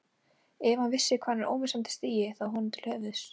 Ef hann vissi hvað hann er ómissandi stigi það honum til höfuðs.